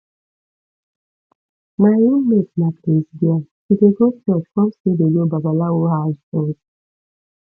my roommate na craze girl she dey go church come still dey go babalawo house join